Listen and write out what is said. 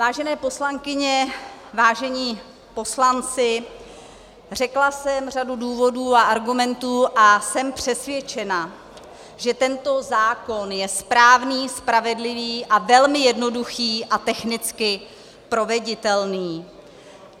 Vážené poslankyně, vážení poslanci, řekla jsem řadu důvodů a argumentů a jsem přesvědčena, že tento zákon je správný, spravedlivý a velmi jednoduchý a technicky proveditelný.